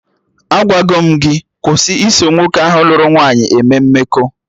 Agwago m gị kwụsị iso nwoke ahụ lụrụ nwaanyị eme mmekọ